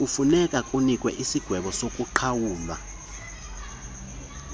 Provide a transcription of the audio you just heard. kufunekwa kunikwe isigwebosokuqhawula